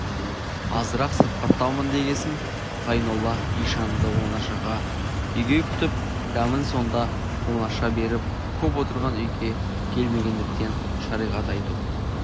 азырақ сырқаттаумын дегесін ғайнолла ишанды оңаша үйге күтіп дәмін сонда оңаша беріп көп отырған үйге келмегендіктен шариғат айту